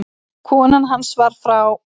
Kona hans var frá